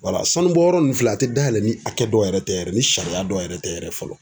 Wala sanubɔyɔrɔ ninnu filɛ a tɛ dayɛlɛ ni hakɛ dɔ yɛrɛ tɛ yɛrɛ ni sariya dɔw yɛrɛ tɛ yɛrɛ fɔlɔ.